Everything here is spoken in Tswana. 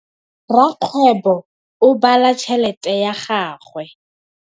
Rakgwêbô o bala tšheletê ya gagwe.